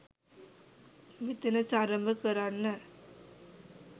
මෙතන සරඹ කරන්න